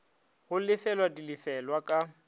go lefelwa di lefelwa ka